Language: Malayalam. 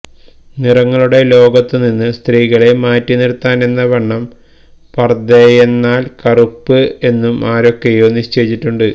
നിറങ്ങളുടെ ലോകത്തുനിന്ന് സ്ത്രീകളെ മാറ്റിനിര്ത്താനെന്നവണ്ണം പര്ദ്ദയെന്നാല് കറുപ്പ് എന്നും ആരൊക്കെയോ നിശ്ചയിച്ചിട്ടുണ്ട്